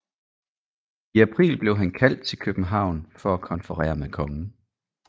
I april blev han kaldt til København for at konferere med kongen